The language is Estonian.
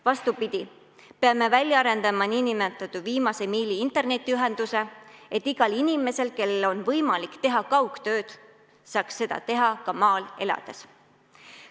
Vastupidi, peame välja arendama nn viimase miili internetiühenduse, et iga inimene, kellel on võimalik teha kaugtööd, saaks seda teha ka maal elades.